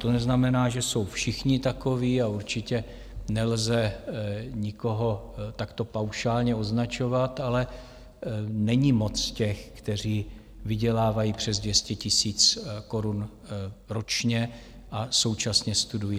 To neznamená, že jsou všichni takoví, a určitě nelze nikoho takto paušálně označovat, ale není moc těch, kteří vydělávají přes 200 000 korun ročně a současně studují.